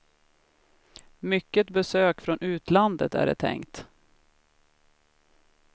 Mycket besök från utlandet är det tänkt.